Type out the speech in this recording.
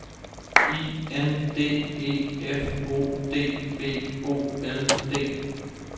I N D E F O D B O L D